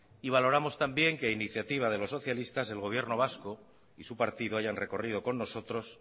y valoramos también que a iniciativa de los socialistas el gobierno vasco y su partido hayan recorrido con nosotros